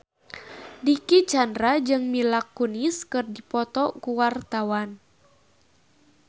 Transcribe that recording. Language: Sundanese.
Dicky Chandra jeung Mila Kunis keur dipoto ku wartawan